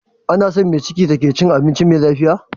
Anason me ciki take cin abinci me lafiya